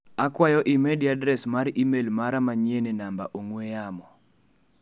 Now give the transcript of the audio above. Akwayo imedi adres mar imel mara manyien e namba ong'ue yamo .